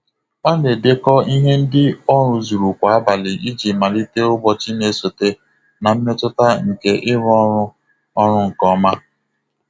Ọ na-edekọ ihe ndị ọ ruzuru kwa abalị iji malite ụbọchị na-esote na mmetụta nke ịrụ ọrụ ọrụ nke ọma.